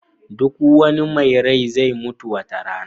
Duk wani mai rai zai mutu wata rana.